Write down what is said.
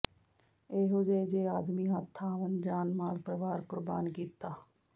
ਇਹੋ ਜਿਹੇ ਜੇ ਆਦਮੀ ਹੱਥ ਆਵਣ ਜਾਨ ਮਾਲ ਪਰਵਾਰ ਕੁਰਬਾਨ ਕੀਤਾ